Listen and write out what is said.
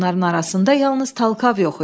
Onların arasında yalnız Talkav yox idi.